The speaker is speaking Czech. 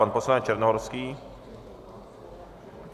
Pan poslanec Černohorský.